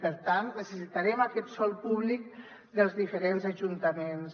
per tant necessitarem aquest sòl públic dels diferents ajuntaments